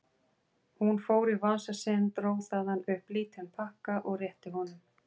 Hún fór í vasa sinn, dró þaðan upp lítinn pakka og rétti honum.